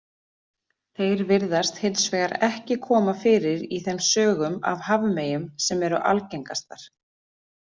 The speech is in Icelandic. Þeir virðast hins vegar ekki koma fyrir í þeim sögum af hafmeyjum sem eru algengastar.